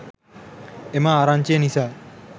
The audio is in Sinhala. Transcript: එම ආරංචිය නිසා